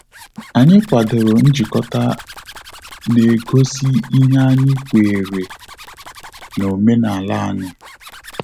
Anyị kwadoro njikota na egosi ihe anyị kwenyere na omenala anyi